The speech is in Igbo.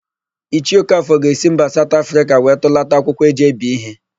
Ichie Okafọ ga-esi mba Saụt Afrịka wee tụlata akwụkwọ e ji ebi íhé.